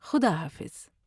خدا حافظ ''